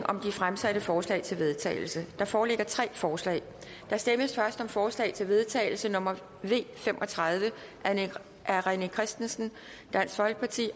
om de fremsatte forslag til vedtagelse der foreligger tre forslag der stemmes først om forslag til vedtagelse nummer v fem og tredive af rené christensen